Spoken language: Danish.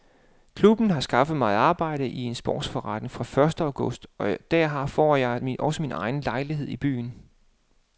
Klubben har skaffet mig arbejde i en sportsforretning fra første august og der får jeg også min egen lejlighed i byen.